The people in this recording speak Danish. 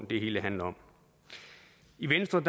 det hele handler om i venstre